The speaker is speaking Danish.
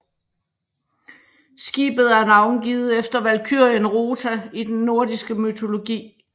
Skibet er navngivet efter valkyrien Rota i den nordiske mytologi